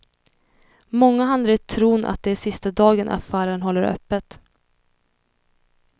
Många handlar i tron att det är sista dagen affären håller öppet.